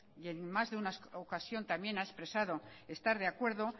y en más de una ocasión también ha expresado estar de acuerdo